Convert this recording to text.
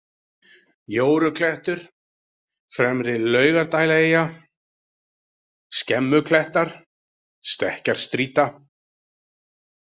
Jóruklettur, Fremri-Laugardælaeyja, Skemmuklettar, Stekkjarstrýta